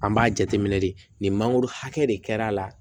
An b'a jateminɛ de nin mangoro hakɛ de kɛra a la